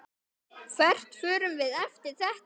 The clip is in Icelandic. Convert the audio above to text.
Jafnvel búið þar líka.